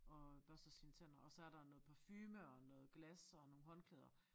Og børster sine tænder og så er der noget parfume og noget glas og nogle håndklæder